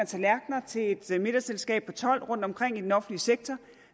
tallerken til et middagsselskab for tolv rundtomkring i den offentlige sektor